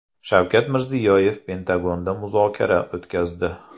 Shavkat Mirziyoyev Pentagonda muzokara o‘tkazdi.